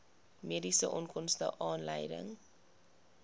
mediese onkoste aanleiding